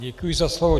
Děkuji za slovo.